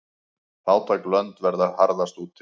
Fátæk lönd verða harðast úti.